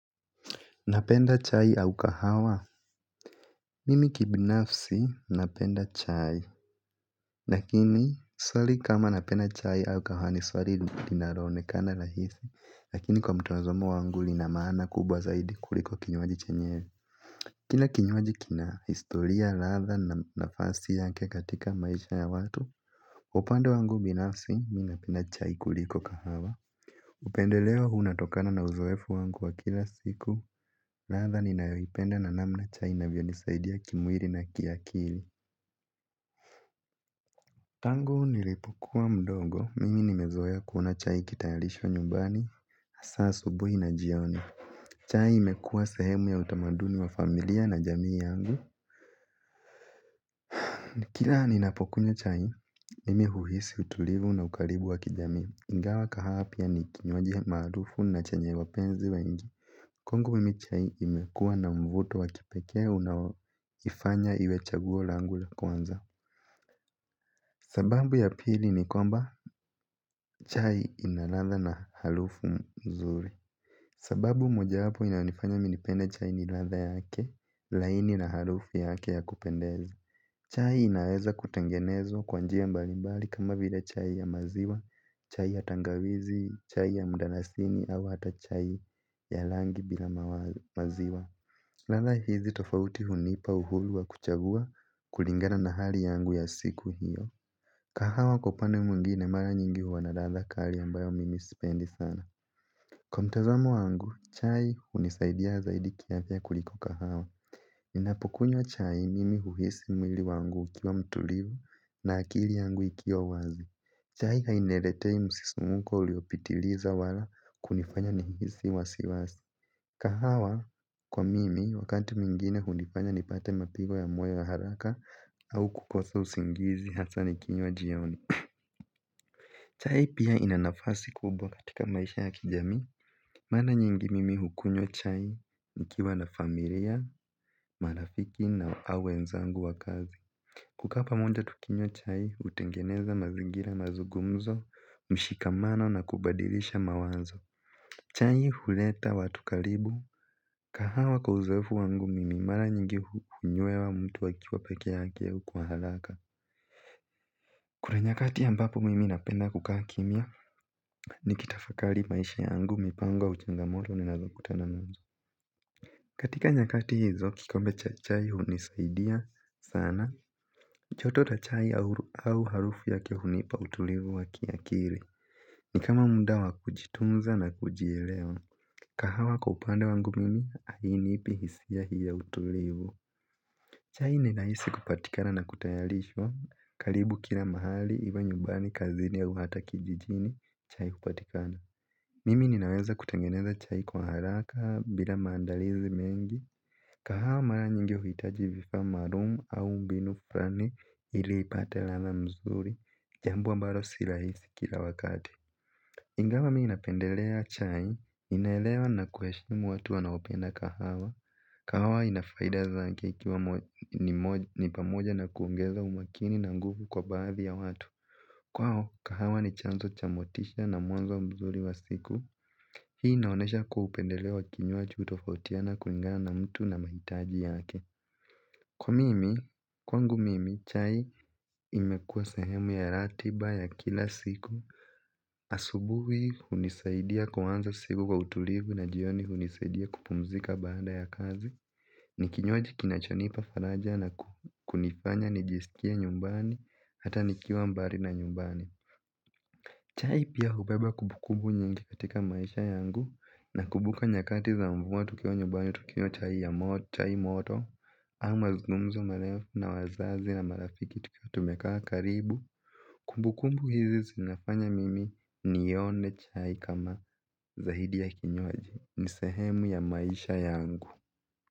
Napenda chai au kahawa? Mimi kibinafsi, napenda chai. Lakini, swali kama napenda chai au kahawa, ni swali linaloonekana rahisi, lakini kwa mtazamo wangu lina maana kubwa zaidi kuliko kinywaji chenyewe. Kila kinywaji kina historia, ladha na nafasi yake katika maisha ya watu, upande wangu binafsi, mimi napenda chai kuliko kahawa. Upendeleo unatokana na uzoefu wangu wa kila siku. Ladha ninayoipenda na namna chai inavyonisaidia kimwili na kiakili. Tangu nilipokuwa mdogo, mimi nimezoea kuona chai ikitayarishwa nyumbani. Saa ya asubuhi na jioni chai imekuwa sehemu ya utamaduni wa familia na jamii yangu. Kila ninapokunywa chai, mimi huhisi utulivu na ukaribu wa kijamii. Ingawa kahawa pia ni kinywaji maarufu na chenye wapenzi wengi. Kwangu mimi chai imekuwa na mvuto wa kipekee unaoifanya iwe chaguo langu la kwanza. Sababu ya pili ni kwamba chai inaladha na harufu nzuri. Sababu mojawapo inanifanya nipende chai ni ladha yake, laini na harufu yake ya kupendeza. Chai inaweza kutengenezwa kwa njia mbalimbali kama vile chai ya maziwa, chai ya tangawizi, chai ya mdalasini au hata chai ya rangi bila maziwa. Ladha hizi tofauti hunipa uhuru wa kuchagua kulingana na hali yangu ya siku hiyo. Kahawa kwa upande mwingine mara nyingi huwa na ladha kali ambayo mimi sipendi sana. Kwa mtazamo wangu, chai hunisaidia zaidi kiafya kuliko kahawa. Ninapokunywa chai mimi huhisi mwili wangu ukiwa mtulivu na akili yangu ikiwa wazi. Chai hainiletei msisimko uliopitiliza wala kunifanya nihisi wasiwasi. Kahawa kwa mimi wakati mwingine hunifanya nipate mapigo ya moyo ya haraka au kukosa usingizi, hasa nikinywa jioni. Chai pia ina nafasi kubwa katika maisha ya kijamii. Mara nyingi mimi hunywa chai nikiwa na familia, marafiki na wenzangu wa kazi. Kukaa pamoja tukinywa chai hutengeneza mazingira ya mazungumzo, mshikamano na kubadilishana mawazo. Chai huleta watu karibu. Kahawa kwa uzoefu wangu mimi mara nyingi hunywa mtu akiwa peke yake kwa haraka. Kuna nyakati ambapo mimi napenda kukaa kimya nikitafakari maisha yangu, mipango, changamoto ninazokutana nazo. Katika nyakati hizo kikombe cha chai hunisaidia sana. Joto la chai au harufu yake hunipa utulivu wa kiakili. Ni kama muda wa kujitunza na kujielewa. Kahawa kwa pande wangu mimi hainipi hisia hii ya utulivu. Chai ni rahisi kupatikana na kutayarishwa karibu kila mahali, iwe nyumbani, kazini au hata kijijini chai kupatikana. Mimi ninaweza kutengeneza chai kwa haraka bila maandalizi mengi. Kahawa mara nyingi huhitaji vifaa maalumu au mbinu fulani ili ipate ladha nzuri. Jambo ambalo si kila wakati. Ingawa mimi napendelea chai, naelewa na kuheshimu watu wanaopenda kahawa. Kahawa ina faida zake, ikiwa ni pamoja na kuongeza umakini na nguvu kwa baadhi ya watu. Kwao, kahawa ni chanzo cha motisha na mwanzo mzuri wa siku. Hii inaonyesha kuwa upendeleo wa kinywaji hutofautiana kulingana na mtu na mahitaji yake. Kwa mimi, kwangu mimi, chai imekuwa sehemu ya ratiba ya kila siku. Asubuhi hunisaidia kuanza siku kwa utulivu na jioni hunisaidia kupumzika baada ya kazi. Ni kinywaji kinachonipa faraja na kunifanya nijisikie nyumbani, hata nikiwa mbali na nyumbani. Chai pia hubeba kumbukumbu nyingi katika maisha yangu. Na kumbuka nyakati za mvua, tukiwa nyumbani, tukinywa chai ya moto, au mazungumzo marefu na wazazi na marafiki, tukiwa tumekaa karibu. Kumbukumbu hizi zinafanya mimi nione chai kama zaidi ya kinywaji. Ni sehemu ya maisha yangu.